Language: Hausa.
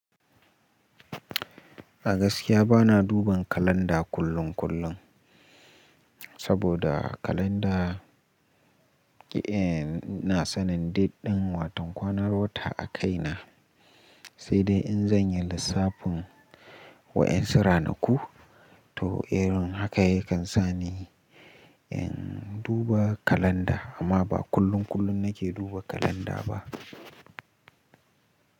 A gaskiya bana duban kalanda kullum kullum, saboda kalanda, ke ehn, ina sanin date ɗin watan kwanar wata a kaina, sai dai in zan yi lissafin wa ƴan su ranaku, to irin haka yakan sa ni in duba kalanda, amma ba kullum kullum nake duba kalanda ba.